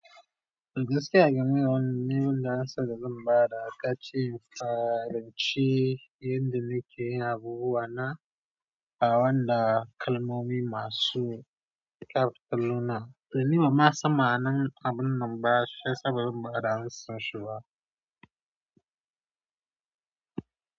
Gaskiya game da wani ne wanda an saka zan ba da ka ce in faranci inda muke yin abubuwa na, awan da kalmomi masu kapitaluna, to ni ba ma san ma'anar abun nan ba sai saboda ba da hansunsu ba.